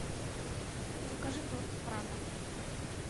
закажи торт прага